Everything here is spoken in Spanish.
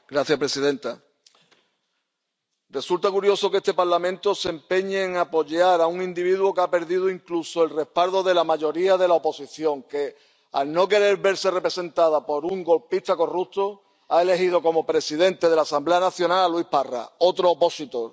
Señora presidenta, resulta curioso que este Parlamento se empeñe en apoyar a un individuo que ha perdido incluso el respaldo de la mayoría de la oposición, que, al no querer verse representada por un golpista corrupto, ha elegido como presidente de la Asamblea Nacional a Luis Parra, otro opositor.